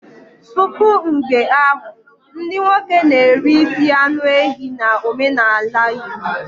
Tupu mgbe ahụ, ndị nwoke na-eri isi anụ ehi na omenala Igbo.